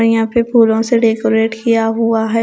और यहाँ पे फूलों से डेकोरेट किया हुआ है।